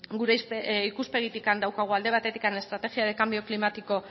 gure ikuspegitik daukagu estrategia de cambio climático